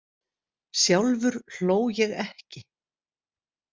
Sjálfur hló ég ekki.